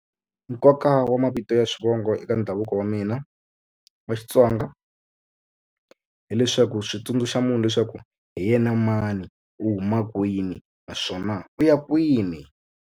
Nkoka wa mavito ya swivongo eka ndhavuko wa mina wa Xitsonga hileswaku swi tsundzuxa munhu leswaku hi yena mani u huma kwini naswona u ya kwini.